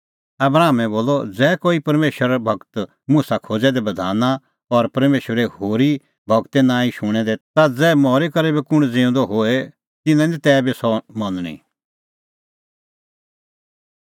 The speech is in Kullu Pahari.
आबरामै बोलअ ज़ै कोई परमेशरे गूर मुसा खोज़ै दै बधाने और परमेशरे होरी गूरे नांईं शुणदै ता ज़ै मरी करै बी कुंण ज़िऊंदअ होए तिन्नां निं तैबी सह मनणी